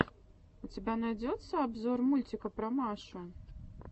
у тебя найдется обзор мультика про машу